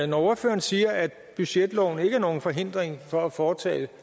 når ordføreren siger at budgetloven ikke er nogen forhindring for at foretage